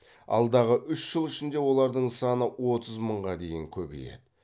алдағы үш жыл ішінде олардың саны отыз мыңға дейін көбейеді